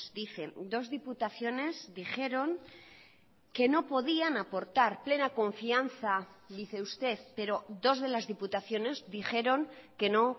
dicen dos diputaciones dijeron que no podían aportar plena confianza dice usted pero dos de las diputaciones dijeron que no